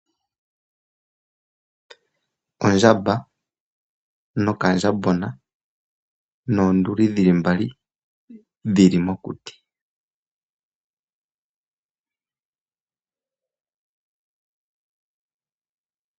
Ondjamba nokandjambona, noonduli dhili mbali dhili mokuti.